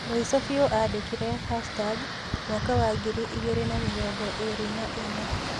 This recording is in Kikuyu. Mũico biu andĩkire '#2024'